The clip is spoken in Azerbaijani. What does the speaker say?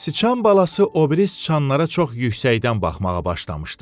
Sıçan balası o biri sıçanlara çox yüksəkdən baxmağa başlamışdı.